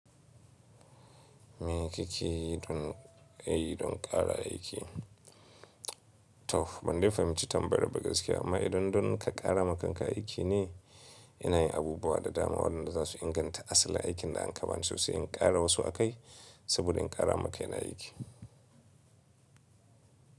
Mile ƙaƙe yi don, eh don ƙara aiki. To, ban dai fahimci tambayar ba gaskiya amma idan don ka ƙara makanka aiki ne, ina yin abubuwa da dama waɗanda za su inganta asalin aikin da an kaban so sai in ƙara wasu akai saboda in ƙara maka yana aiki.